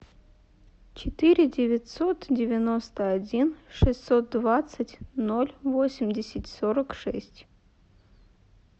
четыре девятьсот девяносто один шестьсот двадцать ноль восемьдесят сорок шесть